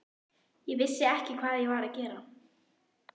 ég vissi ekki hvað ég var að gera.